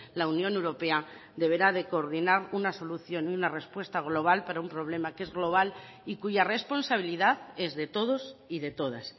la unión europea deberá de coordinar una solución y una respuesta global para un problema que es global y cuya responsabilidad es de todos y de todas